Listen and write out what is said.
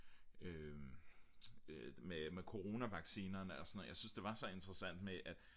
med coronavaccinerne og sådan noget jeg synes det var så interessant med at